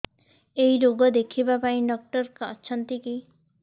ଏଇ ରୋଗ ଦେଖିବା ପାଇଁ ଡ଼ାକ୍ତର ଅଛନ୍ତି କି